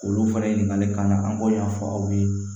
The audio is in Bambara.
Olu fana ɲininkalikan na an b'o ɲɛfɔ aw ye